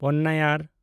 Ponnaiyar